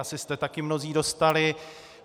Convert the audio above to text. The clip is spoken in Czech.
Asi jste taky mnozí dostali.